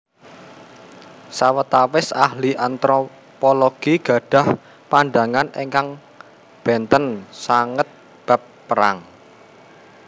Sawetawis Ahli Antropologi gadhah pandhangan ingkang bènten sanget bab perang